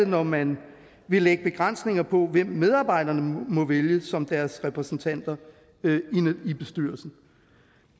når man vil lægge begrænsninger på hvem medarbejderne må vælge som deres repræsentanter i bestyrelsen